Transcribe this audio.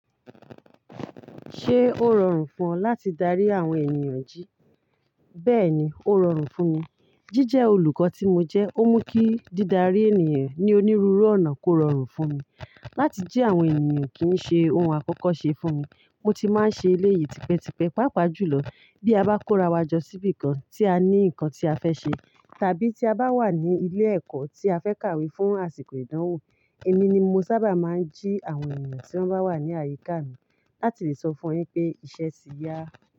Ṣé ó rọrùn fún ọ láti darí àwọn ènìyàn jí? Bẹ́ẹ̀ni, ó rọrùn fún mi. Jíjẹ olùkọ́ tí mo jẹ́, ó mú kí dídarí ènìyàn ní onírúurú ọ̀nà kó rọrùn fún mi. Láti jí àwọn ènìyàn kì í ṣe ohun àkọ́kọ́ ṣe fún mi. Mo ti máa ń ṣe eléyì tipẹ́tipẹ́, pàápàá jùlọ bí a bá kó ra wá jọ síbí kan tí a ní nǹkan tí a fẹ́ ṣe, tàbí tí a bá wà ní ilé ẹ̀kọ́ tí a fẹ́ kàwé fún àsìkò ìdánwò. Èmi ni mo sábà máa ń jí àwọn ènìyàn tí wọ́n bá wà ní àyíká mi láti lè sọ fún wọn pé ìṣe tì ya.